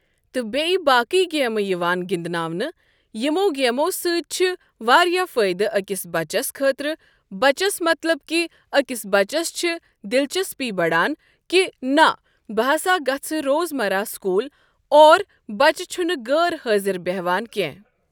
تہٕ بیٚیہ باقی گیمہٕ یِوان گِنٛدناونہٕ یِمو گیمو سۭتۍ چھِ واریاہ فٲیدٕ أکِس بَچس خٲطرٕ بَچس مطلَب کہِ اکس بَچس چھِ دِلچسپی بَڈان کہِ نہ بہٕ ہَسا گَژھٕ روز مَرَہ سکوٗل اور بَچہٕ چھُنہٕ غٲر حٲضِر بٮ۪ہوان کیٚنٛہہ۔